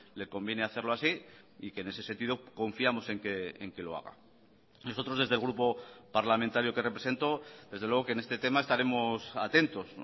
le conviene hacerlo así y que en ese sentido confiamos en que lo haga nosotros desde el grupo parlamentario que represento desde luego que en este tema estaremos atentos